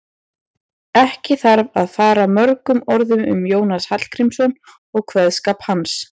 Ekki þarf að fara mörgum orðum um Jónas Hallgrímsson og kveðskap hans.